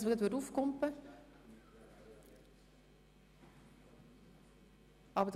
Aber Grossrat Wenger möchte noch einmal etwas sagen. )